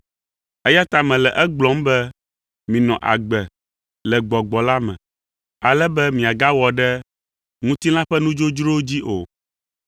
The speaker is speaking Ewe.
Eya ta mele egblɔm be minɔ agbe le Gbɔgbɔ la me, ale be miagawɔ ɖe ŋutilã ƒe nudzodzrowo dzi o.